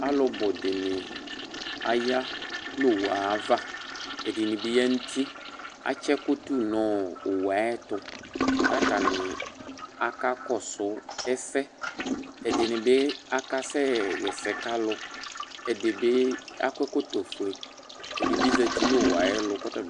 Alʋ bʋ dɩnɩ aya nʋ owu ava. Ɛdɩnɩ bɩ ya nʋ uti. Atsɩ ɛkʋ tʋ nʋ owu yɛ ayɛtʋ kʋ atanɩ akakɔsʋ ɛsɛ. Ɛdɩnɩ bɩ akasɛɣa ɛsɛ ka alʋ. Ɛdɩ bɩ akɔ ɛkɔtɔfue. Ɛdɩ bɩ zati nʋ owu yɛ ayɛlʋ kʋ ɔta bɩ ...